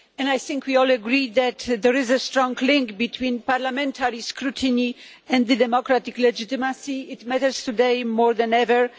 I think we all agree that there is a strong link between parliamentary scrutiny and democratic legitimacy this matters today more than ever.